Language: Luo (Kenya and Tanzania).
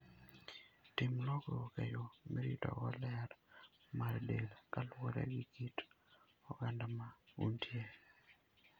Tim lokruok e yo miritogo ler mar del kaluwore gi kit oganda ma untie.